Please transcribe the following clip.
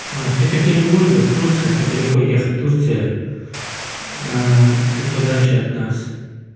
с екатеринбурга в турцию это далеко ехать турция чуть подальше от нас